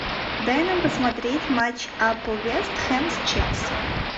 дай нам посмотреть матч апл вест хэм с челси